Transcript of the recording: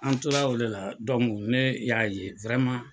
An tora o de la ne y'a ye .